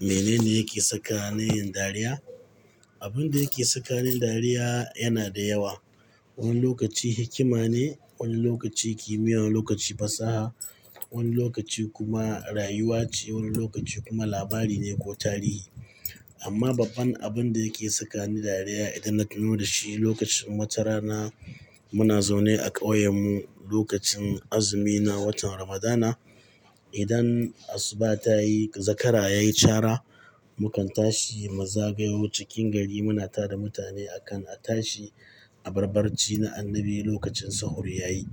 Mene ne yake saka ni yin dariya? Abin da yake saka ni dariya yana da yawa. Wani lokaci hikima ne, wani lokaci kimiyya, wani lokaci fasaha, wani lokaci kuma rayuwa ce, wani lokaci kuma labari ne ko tarihi. Amma babban abin da yake saka ni dariya idan na tuno da shi lokacin wata rana muna zaune a ƙauyen mu lokacin azumina, watan Ramadana. Idan asuba ta yi, zakara ya yi cara, mukan tashi mazagayu cikin gari. Muna tare da mutane a kan a tashi abarbarci na annabi lokacin sahur ya yi.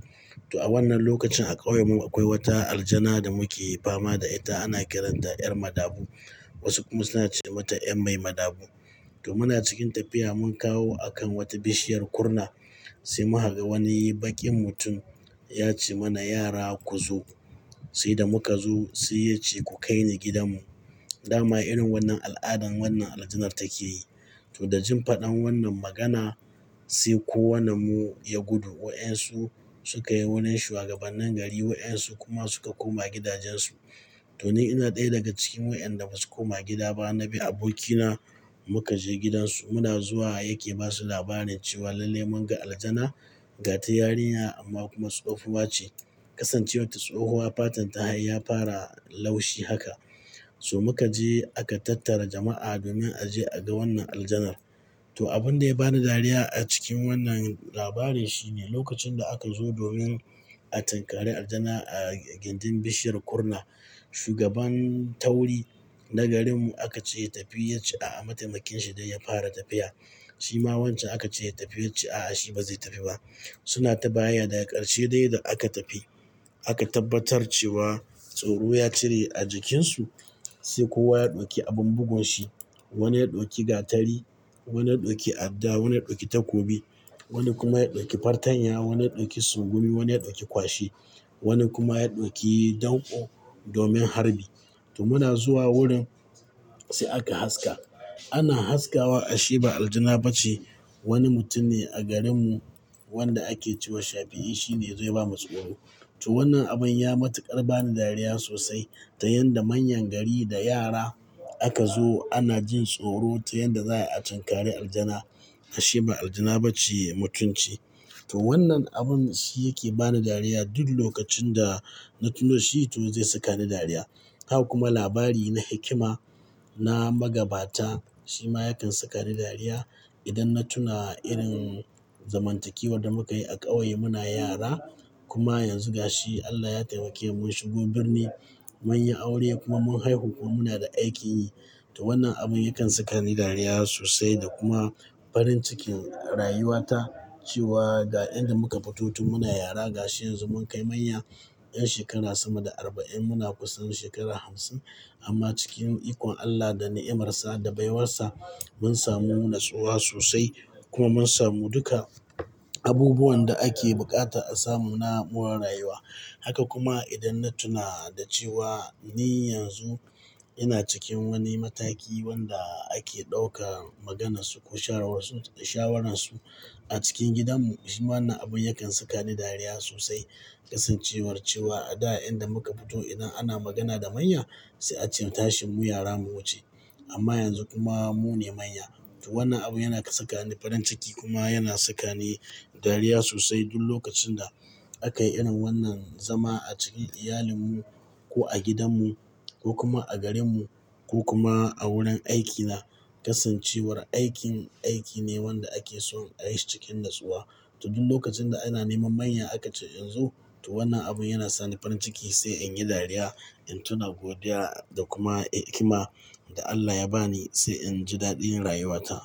To a wannan lokacin a ƙauyen mu akwai wata aljana da muke fama da ita, ana kiranta 'Yar Madabu. Wasu kuma suna ce mata 'Yanmai Madabu. To muna cikin tafiya mun kawo akan wata bishiyar kurna sai muka ga wani bakin mutum ya ce mana, "yara ku zo." Sai da muka zo sai ya ce, "ku kaini gidan mu." Da ma irin wannan al'adan wannan aljanar take yi. To da jin faɗan wannan magana sai kowannen mu ya gudu. Wa'yansu suka yi wanan shugabannen gari, wa'yansu kuma suka koma gidajensu. To ni ina ɗaya daga cikin wa'yanda ba su koma gida ba. Na bi abokina muka je gidansu. Muna zuwa yake ba su labarin cewa lalle mun ga aljana, gata yarinya amma kuma tsofuwa ce. Kasancewar ta tsohuwa fatan ta ya fara laushi haka. So muka je aka tattara jama'a domin a je a ga wannan aljanar. To abin da ya bani dariya a cikin wannan labari shine lokacin da aka zo domin a tinkare aljana a gindin bishiyar kunna shugaban tauri na garin mu aka ce ya tafi ya ce a'a. Mataimakin shi dai ya fara tafiya. Shi ma wancan aka ce ya tafi ya ce a'a, shi ba zai tafi ba. Suna ta bayayya da ƙarshe dai da aka tafi. Aka tabbatar cewa tsoro ya cire a jikinsu sai kowa ya ɗauki abin bugun shi. Wani ya ɗauki gatari, wani ya ɗauki adda, wani ya ɗauki takobi, wani kuma ya ɗauki fartanya, wani ya ɗauki sungumi, wani ya ɗauki kwashi, wani kuma ya ɗauki danƙo domin harbi. To muna zuwa wurin sai aka haska. Ana haskawa ashe ba aljana ba ce. Wani mutum ne a garin mu wanda ake cewa Shafi'i shine zai bamu tsoro. To wannan abun ya matuƙar bani dariya sosai ta yanda manyan gari da yara aka zo ana jin tsoro ta yanda za a tinkare aljana. Ashe ba aljana ba ce mutum ce. To wannan abun shi yake bani dariya duk lokacin da na tuna da shi, tun zai saka ni dariya. Haka kuma labari na hikima, na magabata shi ma yakan saka ni dariya. Idan na tuna irin zamantakewar da muka yi a ƙauye muna yara kuma yanzu ga shi Allah ya taimake mun shugo birni, mun yi aure kuma mun haihu kuma muna da aikin yi. To wannan abun yakan saka ni dariya sosai da kuma farin cikin rayuwata cewa ga inda muka fito tun muna yara ga shi yanzu mun kai manya. 'Yan shekaru sama da arba'in, muna kusa da shekaru hamsin amma cikin ikon Allah da nimarsa da baiwarsa mun samu natsuwa sosai kuma mun samu duka abubuwan da ake bukata a samun na'urar rayuwa. Haka kuma idan na tuna da cewa ni yanzu ina cikin wani mataki wanda ake ɗauka maganarsu ko shawaransu, shawaransu a cikin gidan mu. Shi ma wannan abun yakan saka ni dariya sosai. Kasancewar cewa a da inda muka fito idan ana magana da manya sai a ce tashimu yara mu wuce amma yanzu kuma mu ne manya. To wannan abu yana saka ni farin ciki kuma yana saka ni dariya sosai duk lokacin da aka yi irin wannan zama a cikin iyalin mu ko a gidan mu ko kuma a garin mu ko kuma a wurin aikina. Kasancewar aikin, aiki ne wanda ake son a yi cikin natsuwa. To duk lokacin da ana neman manya aka ce in zo, to wannan abun yana sa ni farin ciki sai in yi dariya, in tuna godiya da kuma hikima da Allah ya ba ni sai in ji daɗin rayuwata.